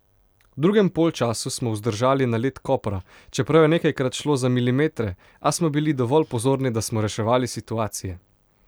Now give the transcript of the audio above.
V drugem polčasu smo vzdržali nalet Kopra, čeprav je nekajkrat šlo za milimetre, a smo bili dovolj pozorni, da smo reševali situacije.